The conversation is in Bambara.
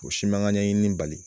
O si man ka ɲɛɲini bali